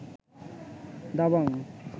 Dabangg